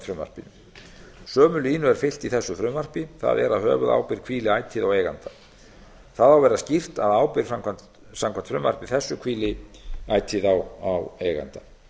frumvarpinu sömu línu er fylgt í þessu frumvarpi það er að höfuðábyrgð hvíli ætíð á eiganda það á að vera skýrt að ábyrgð samkvæmt frumvarpi þessu hvíli ætíð á eiganda